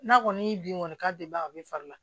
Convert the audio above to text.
N'a kɔni ye bin kɔni k'a bɛ ban a bɛ fari la